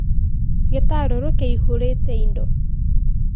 Gĩtarũrũ kĩ-ihũrĩte indo.